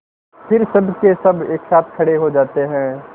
फिर सबकेसब एक साथ खड़े हो जाते हैं